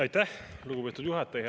Aitäh, lugupeetud juhataja!